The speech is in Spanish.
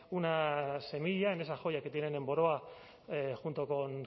una semilla en esa joya que tienen en boroa junto con